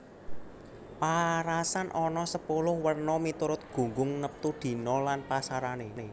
Paarasan ana sepuluh werna miturut gunggung neptu dina lan pasarané